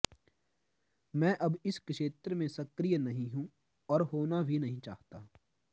मैं अब इस क्षेत्र में सक्रिय नहीं हूं और होना भी नहीं चाहता